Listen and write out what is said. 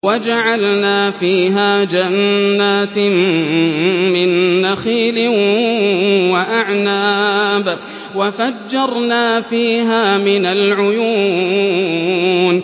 وَجَعَلْنَا فِيهَا جَنَّاتٍ مِّن نَّخِيلٍ وَأَعْنَابٍ وَفَجَّرْنَا فِيهَا مِنَ الْعُيُونِ